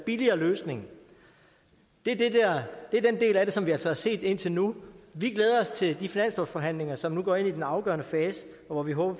billigere løsning det er den del af det som vi altså har set indtil nu vi glæder os til de finanslovsforhandlinger som nu går ind i den afgørende fase og hvor vi håber